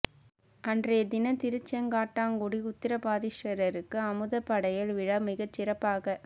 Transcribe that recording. அன்றைய தினம் திருச்செங்காட்டங்குடி உத்திராபதீஸ்வரருக்கு அமுது படையல் விழா மிகச் சிறப்பாக